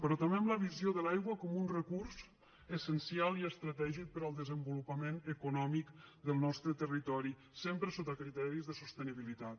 però també amb la visió de l’aigua com un recurs essencial i estratègic per al desenvolupament econòmic del nostre territori sempre sota criteris de sostenibilitat